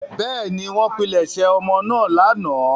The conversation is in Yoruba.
Bẹ́ẹ̀ni, wọ́n pilẹ̀sẹ̀ ọmọ náà lánàá.